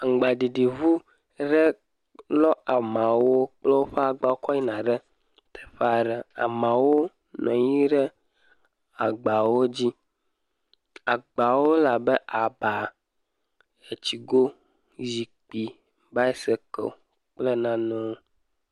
Aŋgbaɖiɖiŋu re lɔ amawo kple woƒe agba kɔ yina re teƒaa ɖe. Amawo nɔ anyi re agbawo dzi. Agbawo le abe aba, etsigo, zikpi, baɛsekeli kple nanewo.